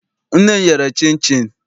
Nne m yere chịnchịn.